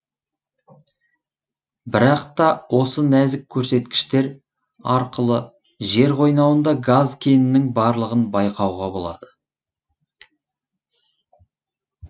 бірақ та осы нәзік көрсеткіштер арқылы жер қойнауында газ кенінің барлығын байқауға болады